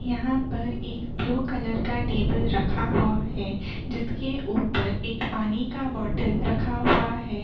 यहाँ पर एक ब्लू कलर का टेबल रखा हुआ है जिसके ऊपर एक पानी का एक बोतल रखा हुआ है।